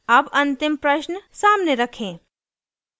अब अंतिम प्रश्न सामने रखें: